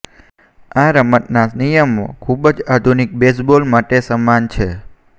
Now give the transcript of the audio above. આ રમતના નિયમો ખૂબ જ આધુનિક બેઝબોલ માટે સમાન છે